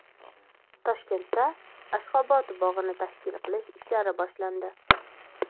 Toshkentda Ashxobod bog‘ini tashkil qilish ishlari boshlandi.